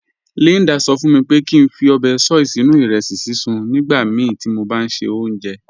Líndà sọ̀ fún mí pé kí n fí óbè soy sínu irẹsí síṣun mí nígbàmíí tí mó bá n ṣẹ ọ̀unṣẹ́.